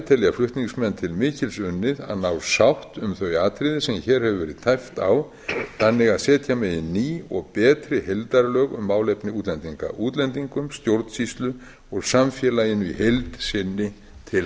telja flutningsmenn til mikils unnið að ná sátt um þau atriði sem hér hefur verið tæpt á þannig að setja megi ný og betri heildarlög um málefni útlendinga útlendingum stjórnsýslu og samfélaginu í heild sinni til